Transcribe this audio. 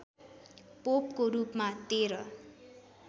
पोपको रूपमा १३